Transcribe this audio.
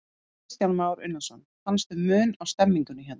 Kristján Már Unnarsson: Fannstu mun á stemningunni hérna?